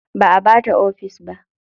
Ba a bata ofis ba.